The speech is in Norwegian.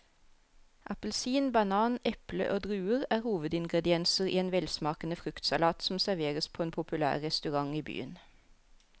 Appelsin, banan, eple og druer er hovedingredienser i en velsmakende fruktsalat som serveres på en populær restaurant i byen.